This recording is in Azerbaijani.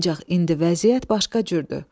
Ancaq indi vəziyyət başqa cürdür.